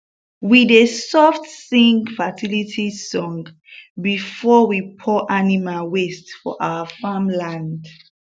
we dey soft sing fertility song before we pour animal waste for our farm land